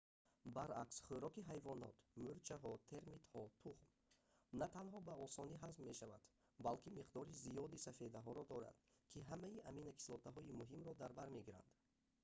баръакс хӯроки ҳайвонот мӯрчаҳо термитҳо тухм на танҳо ба осонӣ ҳазм мешавад балки миқдори зиёди сафедаҳоро дорад ки ҳамаи аминокислотаҳои муҳимро дар бар мегиранд